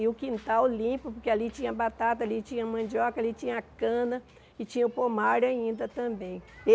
E o quintal limpo, porque ali tinha batata, ali tinha mandioca, ali tinha cana e tinha o pomar ainda também.